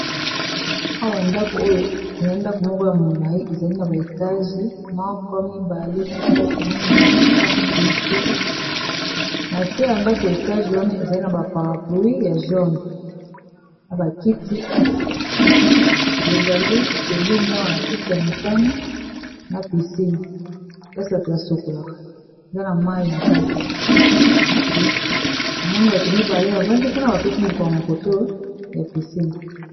awa ndako oyo eza ndako moko ya molai ezali na baetage mk 2345 na sea ya ndako etage wana ezali na baparaplouis ya johne na bakiti ezali pembeni awa na kiti ya motane na pisine kasi bato basekolaka eza na mai na kati namoni bato mibale bavandi mpona bapesi mokongo koto ya pisine